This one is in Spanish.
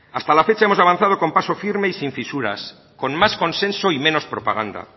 hasta la fecha hemos avanzado con paso firme y sin fisuras con más consenso y menos propaganda